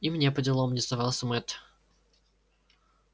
и мне поделом не сдавался мэтт